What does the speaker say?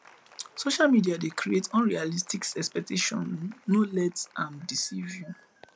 social media dey create unrealistic expectations no let am deceive you